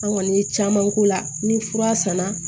An kɔni ye caman k'o la ni fura sanna